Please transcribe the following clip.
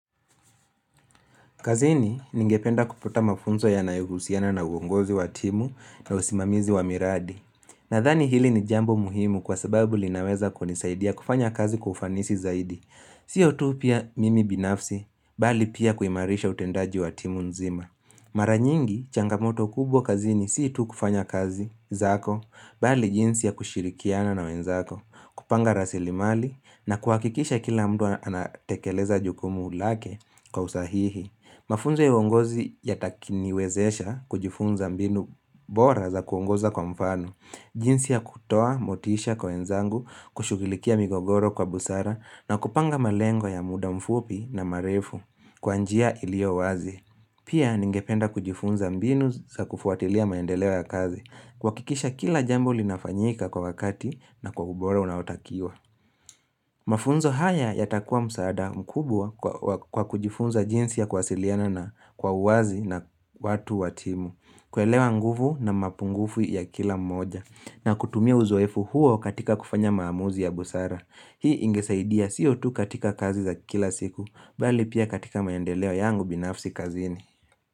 Kazini ningependa kuputa mafunzo yanayohusiana na uongozi wa timu na usimamizi wa miradi. Nadhani hili ni jambo muhimu kwa sababu linaweza kunisaidia kufanya kazi kwa ufanisi zaidi. Sio tu pia mimi binafsi, bali pia kuimarisha utendaji wa timu nzima. Mara nyingi changamoto kubwa kazini si tu kufanya kazi zako, bali jinsi ya kushirikiana na wenzako, kupanga rasili mali na kuhakikisha kila mdu anatekeleza jukumu lake kwa usahihi. Mafunzo ya uongozi yatakiniwezesha kujifunza mbinu bora za kuongoza kwa mfano. Jinsi ya kutoa, motisha kwa wenzangu, kushughilikia migogoro kwa busara na kupanga malengo ya muda mfupi na marefu kwa njia ilio wazi. Pia ningependa kujifunza mbinu za kufuatilia maendeleo ya kazi. Kwakikisha kila jambo linafanyika kwa wakati na kwa ubora unautakiwa. Mafunzo haya yatakuwa msaada mkubwa kwa kujifunza jinsi ya kuwasiliana na kwa uwazi na watu wa timu kuelewa nguvu na mapungufu ya kila mmoja na kutumia uzoefu huo katika kufanya maamuzi ya busara Hii ingesaidia siyo tu katika kazi za kila siku Bali pia katika maendeleo yangu binafsi kazini.